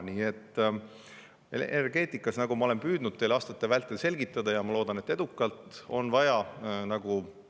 Nii et energeetikas, nagu ma olen püüdnud teile aastate vältel selgitada ja ma loodan, et edukalt, on vaja.